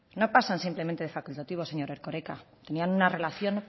no pasan simplemente de facultativos señor erkoreka tenían una relación